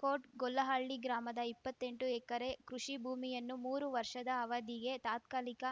coat Gollahalli ಗ್ರಾಮದ ಇಪ್ಪತ್ತೆಂಟು ಎಕರೆ ಕೃಷಿ ಭೂಮಿಯನ್ನು ಮೂರು ವರ್ಷದ ಅವಧಿಗೆ ತಾತ್ಕಾಲಿಕ